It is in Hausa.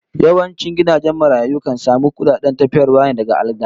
Yawancin gidajen marayu kan samu kudaden tafiyarwa ne daga attajirai